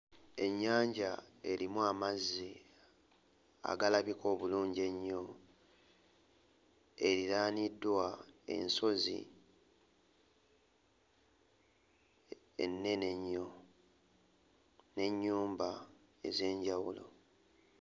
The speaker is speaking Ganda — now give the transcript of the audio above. Ennyanja erimu amazzi agalabika obulungi ennyo eriraaniddwa ensozi ennene ennyo n'ennyumba ez'enjawulo.